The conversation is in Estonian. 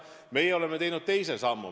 Meie oleme teinud teise sammu.